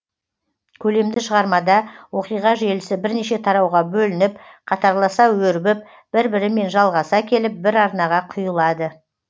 көлемді шығармада оқиға желісі бірнеше тарауға бөлініп қатарласа өрбіп бір бірімен жалғаса келіп бір арнаға құйылады